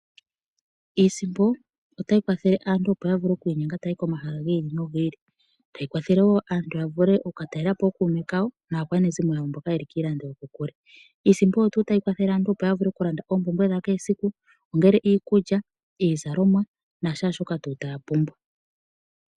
Iisimpo otayi kwathele aantu opo ya vule oku inyenga taya yi komahala gi ili nogi ili, tayi kwathele wo aantu ya vule oku ka talela po ookuume kawo naakwanezimo yawo mboka yeli kiilando yokokule. Iisimpo oyo tuu tayi kwathele aantu, opo ya vule oku landa oompumbwe dha kehe esiku, ongele iikulya, iizalomwa na shaashoka tuu taya pumbwa.